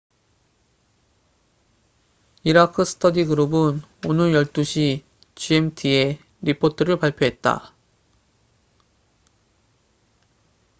이라크 스터디 그룹은 오늘 12시 gmt그리치니 표준시에 리포트를 발표했다